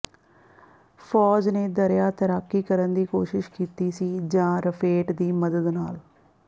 ਫੌਜ ਨੇ ਦਰਿਆ ਤੈਰਾਕੀ ਕਰਨ ਦੀ ਕੋਸ਼ਿਸ਼ ਕੀਤੀ ਸੀ ਜਾਂ ਰਫੇਟ ਦੀ ਮਦਦ ਨਾਲ